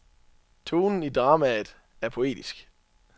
Tonen i dramaet er poetisk.